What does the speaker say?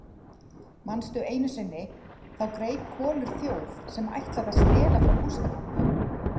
Manstu einu sinni, þá greip Kolur þjóf sem ætlaði að stela frá Gústa gamla?